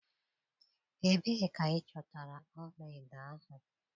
Ebee ka ịchọtara ọla edo ahụ?